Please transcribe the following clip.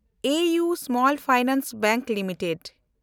A U small finance bank limited